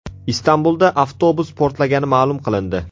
Istanbulda avtobus portlagani ma’lum qilindi.